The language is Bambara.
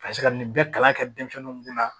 Ka se ka nin bɛɛ kalan kɛ denmisɛnninw kun na